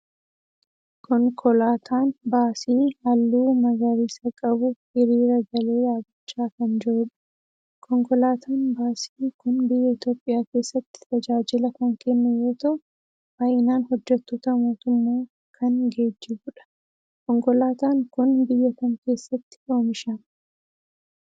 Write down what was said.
Konkolaataan baasii halluu magariisa qabu hiriira galee dhaabbachaa kan jirudha. Konkolaatan Baasii kun biyya Itoophiyaa keessatti tajaajila kan kennu yoo ta'u baay'inaan hojjettoota mootummaa kan geejjibudha. Konkolaataan kun biyya kam keessatti oomishama?